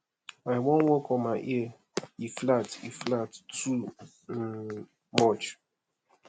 i wan work on my ear e flat e flat too um much